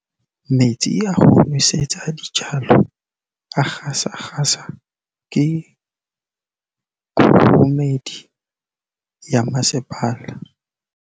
Metsi a go nosetsa dijalo a gasa gasa ke kgogomedi ya masepala.